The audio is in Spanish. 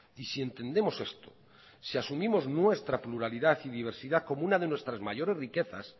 y si entendemos esto si asumimos nuestra pluralidad y diversidad como una de nuestras mayores riquezas